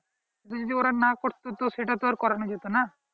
যদি ওরা না করতো তো সেটা তো আর করানো যেতোনা